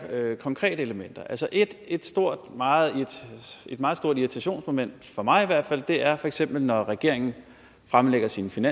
konkrete elementer et et meget meget stort irritationsmoment for mig i hvert fald er feks at når regeringen fremlægger sit